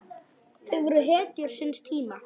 Þau voru hetjur síns tíma.